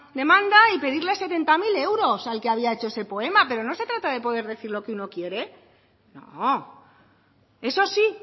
demanda y pedirle setenta mil euros al que había hecho ese poema pero no se trata de poder decir lo que uno quiere no eso sí